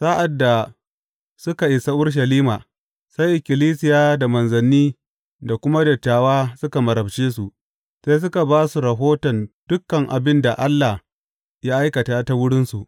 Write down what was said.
Sa’ad da suka isa Urushalima, sai ikkilisiya da manzanni da kuma dattawa suka marabce su, sai suka ba su rahoton dukan abin da Allah ya aikata ta wurinsu.